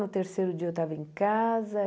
No terceiro dia eu estava em casa.